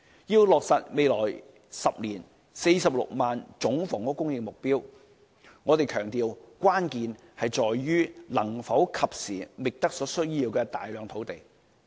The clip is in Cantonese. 要落實未來10年46萬個總房屋供應目標，我們強調關鍵在於能否及時覓得所需要的大量土地。